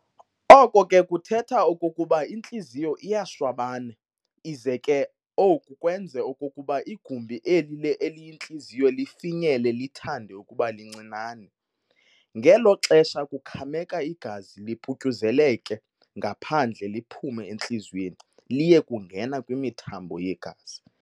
Oko ke kuthetha okokuba intliziyo iyashwabana ize ke oku kwenze okokuba igumbi eli eliyintliziyo lifinyele lithande ukuba lincinane. Ngelo xesha kukhameka igazi liputyuzekele ngaphandle liphume entliziyweni liye kungena kwimithambo yegazi.